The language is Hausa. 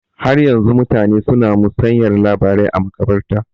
Har yanzu mutane su na musayar labarai a maƙabarta